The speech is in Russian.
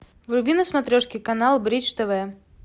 вруби на смотрешке канал бридж тв